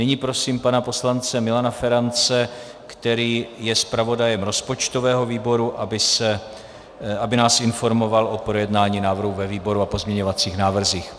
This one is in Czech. Nyní prosím pana poslance Milana Ferance, který je zpravodajem rozpočtového výboru, aby nás informoval o projednání návrhu ve výboru a pozměňovacích návrzích.